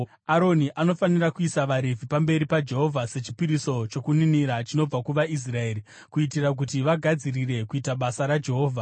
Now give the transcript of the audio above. Aroni anofanira kuisa vaRevhi pamberi paJehovha sechipiriso chokuninira chinobva kuvaIsraeri, kuitira kuti vagadzirire kuita basa raJehovha.